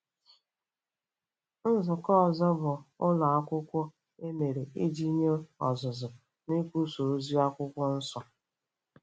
Nzukọ ọzọ bụ ụlọ akwụkwọ e mere iji nye ọzụzụ n'ikwusa ozi Akwụkwọ Nsọ.